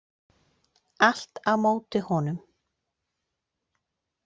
Allt á móti honum.